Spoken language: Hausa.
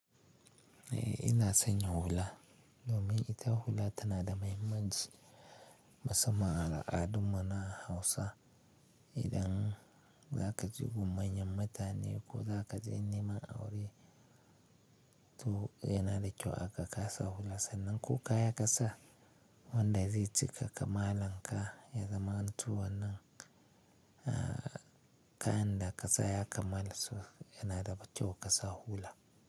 Eh ina sanya hula. Domin ita hula tana da mahimmanci musamman a al'adunmu na Hausa. Idan za kaje gun manyan mutane ko za ka je neman aure, to yana da kyau a ga kasa hula sannan ko ka ya kasa wanda zai cika kamalar ka, ya zamanto wannan, a kayan da kasa ya kamala so yana da kyau kasa hula.